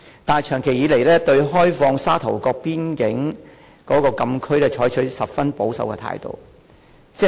但是，長期以來，政府對開放沙頭角邊境禁區卻採取十分保守的態度。